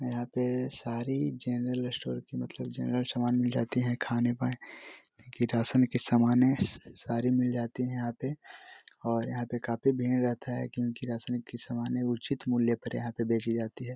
यहाँ पे सारी जर्नल स्टोर की मतलब जर्नल सामान मिल जाते है खाने पाए की राशन के सामान है सारी मिल जाती है यहाँ पे और यहाँ पे काफी भीड़ रहता है क्यों की राशन के सामान उचित मूल्य पे यहाँ पे बेचीं जाती है।